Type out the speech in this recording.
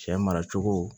Cɛ mara cogo